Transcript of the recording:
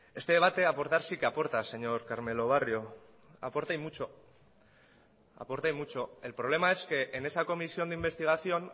este debate aportar sí que aporta señor carmelo barrio aporta y mucho el problema es que en esa comisión de investigación